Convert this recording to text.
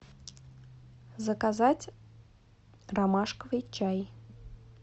заказать ромашковый чай